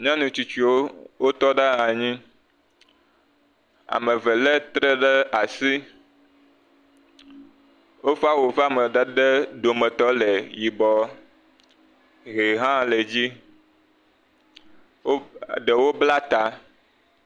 Nyɔnu tsitsiwo, wotɔ anyi, ame eve lé tre ɖe asi, woƒe awu ƒe amadede dometɔ le yibɔ, ʋe hã le dzi, ɖewo bla ta.